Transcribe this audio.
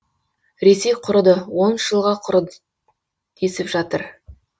ресей құрыды он үш жылға құры десіп жатыр